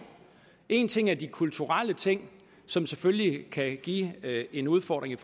en ting er de kulturelle ting som selvfølgelig kan give en udfordring